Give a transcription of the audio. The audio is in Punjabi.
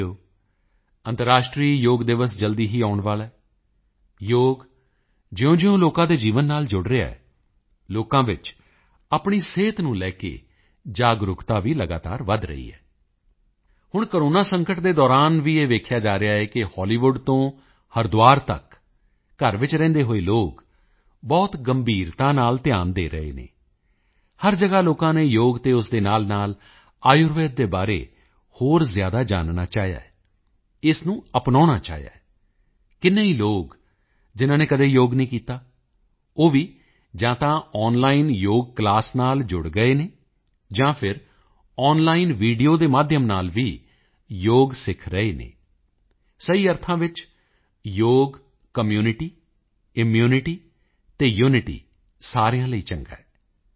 ਸਾਥੀਓ ਅੰਤਰਰਾਸ਼ਟਰੀ ਯੋਗ ਦਿਵਸ ਜਲਦੀ ਹੀ ਆਉਣ ਵਾਲਾ ਹੈ ਯੋਗ ਜਿਉਂਜਿਉਂ ਲੋਕਾਂ ਦੇ ਜੀਵਨ ਨਾਲ ਜੁੜ ਰਿਹਾ ਹੈ ਲੋਕਾਂ ਵਿੱਚ ਆਪਣੀ ਸਿਹਤ ਨੂੰ ਲੈ ਕੇ ਜਾਗਰੂਕਤਾ ਵੀ ਲਗਾਤਾਰ ਵਧ ਰਹੀ ਹੈ ਹੁਣ ਕੋਰੋਨਾ ਸੰਕਟ ਦੇ ਦੌਰਾਨ ਵੀ ਇਹ ਦੇਖਿਆ ਜਾ ਰਿਹਾ ਹੈ ਕਿ ਹਾਲੀਵੁੱਡ ਤੋਂ ਹਰਿਦੁਆਰ ਤੱਕ ਘਰ ਵਿੱਚ ਰਹਿੰਦੇ ਹੋਏ ਲੋਕ ਯੋਗ ਬਹੁਤ ਗੰਭੀਰਤਾ ਨਾਲ ਧਿਆਨ ਦੇ ਰਹੇ ਹਨ ਹਰ ਜਗ੍ਹਾ ਲੋਕਾਂ ਨੇ ਯੋਗ ਅਤੇ ਉਸ ਦੇ ਨਾਲਨਾਲ ਆਯੁਰਵੈਦ ਦੇ ਬਾਰੇ ਵਿੱਚ ਹੋਰ ਜ਼ਿਆਦਾ ਜਾਨਣਾ ਚਾਹਿਆ ਹੈ ਇਸ ਨੂੰ ਅਪਨਾਉਣਾ ਚਾਹਿਆ ਹੈ ਕਿੰਨੇ ਹੀ ਲੋਕ ਜਿਨ੍ਹਾਂ ਨੇ ਕਦੇ ਯੋਗ ਨਹੀਂ ਕੀਤਾ ਉਹ ਵੀ ਜਾਂ ਤਾਂ ਆਨਲਾਈਨ ਯੋਗ ਕਲਾਸ ਨਾਲ ਜੁੜ ਗਏ ਹਨ ਜਾਂ ਫਿਰ ਆਨਲਾਈਨ ਵੀਡੀਓ ਦੇ ਮਾਧਿਅਮ ਰਾਹੀਂ ਯੋਗ ਸਿੱਖ ਰਹੇ ਹਨ ਸਹੀ ਵਿੱਚ ਯੋਗ ਕਮਿਊਨਿਟੀ ਇਮਿਊਨਿਟੀ ਅਤੇ ਯੂਨਿਟੀ ਸਾਰਿਆਂ ਲਈ ਚੰਗਾ ਹੈ